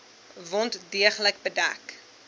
wond deeglik bedek